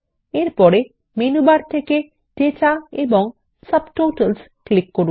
এর পরে menu bar থেকে ডেটা এবং সাবটোটালস ক্লিক করুন